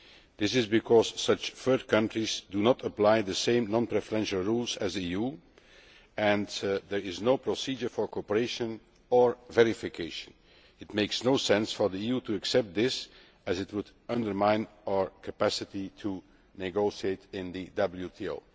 This is because such third countries do not apply the same non preferential rules as the EU and there is no procedure for cooperation or verification. It makes no sense for the EU to accept this as it would undermine our capacity to negotiate in the WTO.